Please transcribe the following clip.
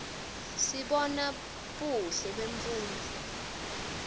sibona buhle bemfundvo